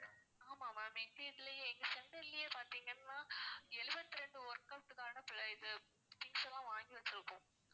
ஆமா ma'am எங்க இதுலயே எங்க center லயே பாத்தீங்கன்னா எழுபத்தி ரெண்டு workout கான இது things லாம் வாங்கி வச்சி இருக்கோம்